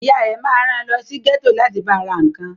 Ìyá rẹ ma ran lọ sí gẹ́tò láti ba ra nǹkan